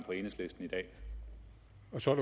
for